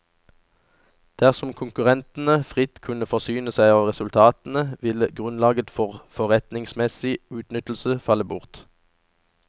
Dersom konkurrentene fritt kunne forsyne seg av resultatene, ville grunnlaget for forretningsmessig utnyttelse falle bort.